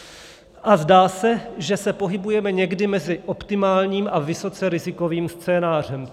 A zdá se, že se pohybujeme někde mezi optimálním a vysoce rizikovým scénářem.